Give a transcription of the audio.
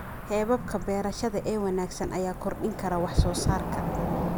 Hababka beerashada ee wanaagsan ayaa kordhin kara wax-soo-saarka.